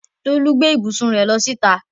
Tolú gbé ibùsùn rẹ̀ lọ síta.